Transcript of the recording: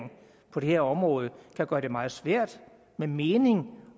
på det her område kan gøre det meget svært med mening